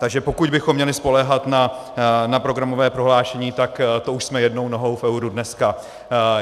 Takže pokud bychom měli spoléhat na programové prohlášení, tak to už jsme jednou nohou v euru dneska.